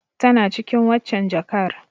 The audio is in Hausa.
Tana cikin waccen jakar.